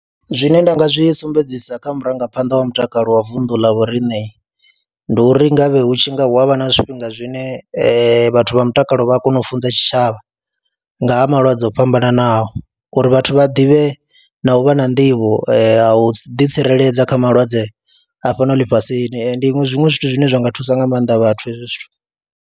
Zwine nda nga zwi sumbedzisa kha murangaphanḓa wa mutakalo wa vunḓu ḽa vho riṋe ndi uri nga vhe hu tshi nga hu a vha na zwifhinga zwine vhathu vha mutakalo vha a kona u funza tshitshavha nga ha malwadze o fhambananaho uri vhathu vha ḓivhe na u vha na nḓivho ya u ḓitsireledza kha malwadze a fhano ḽifhasini, ndi iṅwe zwiṅwe zwithu zwine zwa nga thusa nga maanḓa vhathu hezwi zwithu.